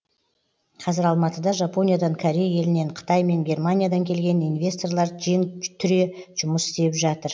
қазір алматыда жапониядан корей елінен қытай мен германиядан келген инвесторлар жең түре жұмыс істеп жатыр